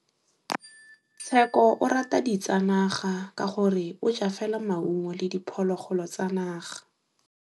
Tshekô o rata ditsanaga ka gore o ja fela maungo le diphologolo tsa naga.